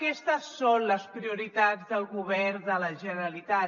aquestes són les prioritats del govern de la generalitat